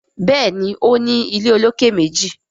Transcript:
Béèni o ní ilé olokè méjì.